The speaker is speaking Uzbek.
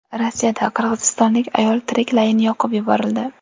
Rossiyada qirg‘izistonlik ayol tiriklayin yoqib yuborildi.